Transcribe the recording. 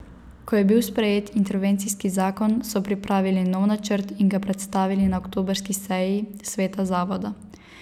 Ko je bil sprejet intervencijski zakon, so pripravili nov načrt in ga predstavili na oktobrski seji sveta zavoda.